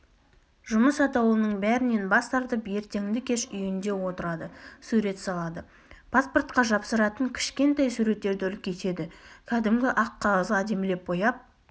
жұмыс атаулының бәрінен бас тартып ертеңді-кеш үйінде отырады сурет салады паспортқа жапсыратын кішкентай суреттерді үлкейтеді кәдімгі ақ қағазға әдемілеп бояп